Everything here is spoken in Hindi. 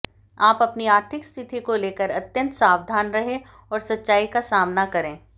आप अपनी आर्थिक स्थिति को लेकर अत्यंत सावधान रहें और सच्चाई का सामना करें